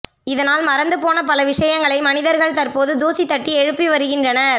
இதனால் மறந்து போன பல விஷயங்களை மனிதர்கள் தற்போது தூசி தட்டி எழுப்பி வருகின்றனர்